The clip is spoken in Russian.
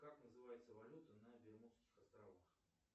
как называется валюта на бермудских островах